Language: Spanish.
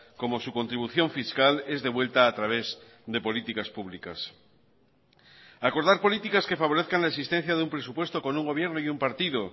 cómo su contribución fiscal es de vuelta a través de políticas públicas acordar políticas que favorezcan la existencia de un presupuesto con un gobierno y un partido